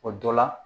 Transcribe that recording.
O dɔ la